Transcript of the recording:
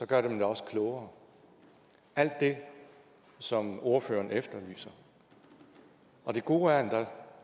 gør dem også klogere alt det som ordføreren efterlyser det gode er